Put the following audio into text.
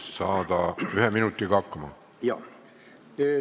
Palun ühe minutiga hakkama saada!